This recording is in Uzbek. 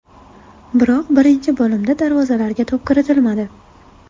Biroq birinchi bo‘limda darvozalarga to‘p kiritilmadi.